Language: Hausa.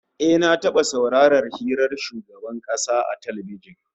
Eh, na taba saurarar hira da shugaban kasa a talbijin